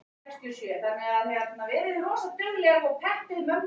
Hann reynir að draga hana nær hljómflutningstækjunum.